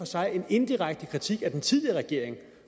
sig en indirekte kritik af den tidligere regering